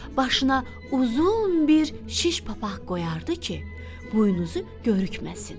Başına uzun bir şiş papaq qoyardı ki, buynuzu görükməsin.